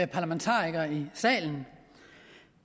parlamentarikere i salen